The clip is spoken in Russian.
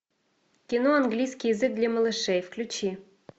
кино английский язык для малышей включи